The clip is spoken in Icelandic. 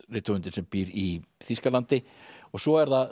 rithöfundinn sem býr í Þýskalandi og svo er það